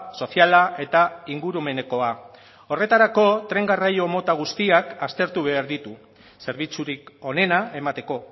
soziala eta ingurumenekoa horretarako tren garraio mota guztiak aztertu behar ditu zerbitzurik onena emateko